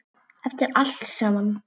Eftir allt saman.